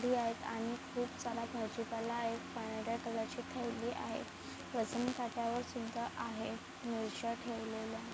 दि आहे आणि खूप सारा भाजीपाला आहे पांढऱ्या कलर ची थैली आहे वजन काट्यावर सुद्धा आहे मिरच्या ठेवलेल्या--